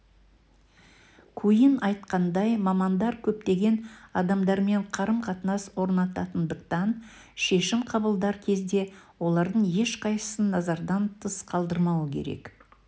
куинн айтқандай мамандар көптеген адамдармен қарым-қатынас орнататындықтан шешім қабылдар кезде олардың ешқайсысын назардан тыс қалдырмауы керек